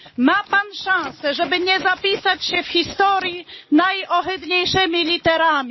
Ma Pan szansę, żeby nie zapisać się w historii najohydniejszymi literami.